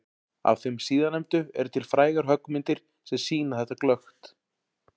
Af þeim síðarnefndu eru til frægar höggmyndir sem sýna þetta glöggt.